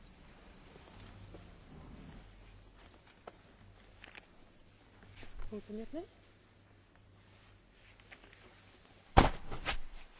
Herr Präsident! Es gibt wenige Themen auf der Tagesordnung der Europäischen Union, die so wild und so emotional diskutiert werden